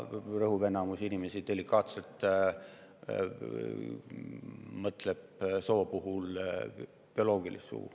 Rõhuv enamus inimesi mõtleb soo puhul bioloogilist sugu.